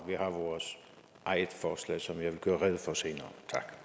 vi har vores eget forslag som jeg vil gøre rede for senere